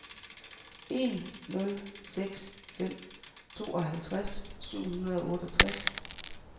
en nul seks fem tooghalvtreds syv hundrede og otteogtres